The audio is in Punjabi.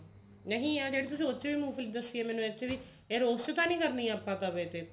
ਨਹੀਂ ਆ ਜਿਹੜੀ ਮੂੰਗਫਲੀ ਦੱਸੀ ਆ ਮੈਨੂੰ ਇਹਦੇ ਚ ਵੀ ਇਹ ਰੋਆਸਤ ਤਾਂ ਨੀ ਕਰਨੀ ਆਪਾਂ ਤਵੇ ਤੇ